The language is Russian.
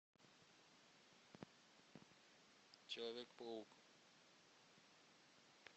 человек паук